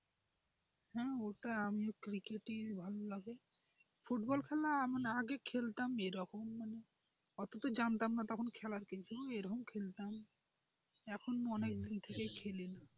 হ্যাঁ ওটা আমিও ক্রিকেট ই ভালোবাসি ফুটবল খেলা আমি আগে খেলতাম যখন মানে অত তো জানতাম না খেলার কিছু কি এরকম খেলতাম এখন অনেক দিন থেকেই খেলি।